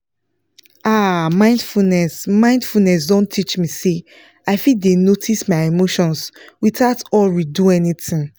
ah mindfulness mindfulness don teach me say i fit dey notice my emotions without hurry do anything